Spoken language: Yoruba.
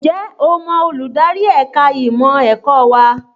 Ǹjẹ́ o mọ olùdarí ẹ̀ka ìmọ̀ ẹ̀kọ́ wa?